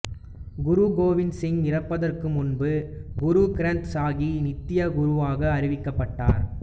குரு கோவிந்த் சிங் இறப்பதற்கு முன்பு குரு கிரந்த் சாகிப் நித்திய குருவாக அறிவிக்கப்பட்டார்